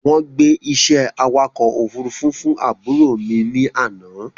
Wọ́n gbé iṣẹ́ awakọ̀ ofúrufú fún àbúrò mi ní àná